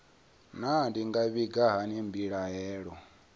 naa ndi nga vhiga hani mbilaelo